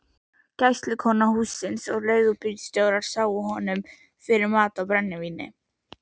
Gæslukona hússins og leigubílstjórar sáu honum fyrir mat og brennivíni.